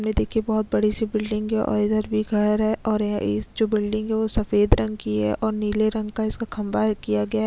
सामने देखिये बहोत बड़ी सी बिल्डिंग है और इधर भी घर है और यह इस जो बिल्डिंग है ओ सफ़ेद रंग की है और नीले रंग का इसका खम्बा किया गया है।